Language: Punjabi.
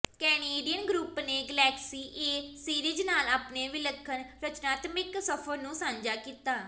ਕੈਨੇਡੀਅਨ ਗਰੁੱਪ ਨੇ ਗਲੈਕਸੀ ਏ ਸੀਰੀਜ਼ ਨਾਲ ਆਪਣੇ ਵਿਲੱਖਣ ਰਚਨਾਤਮਿਕ ਸਫ਼ਰ ਨੂੰ ਸਾਂਝਾ ਕੀਤਾ